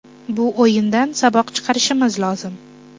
Bu o‘yindan saboq chiqarishimiz lozim.